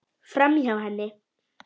Framhjá henni.